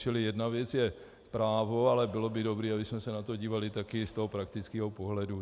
Čili jedna věc je právo, ale bylo by dobré, abychom se na to dívali také z toho praktického pohledu.